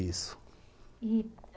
Isso. I